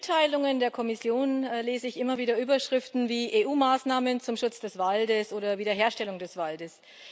In den Mitteilungen der Kommission lese ich immer wieder Überschriften wie EU Maßnahmen zum Schutz des Waldes oder Wiederherstellung des Waldes.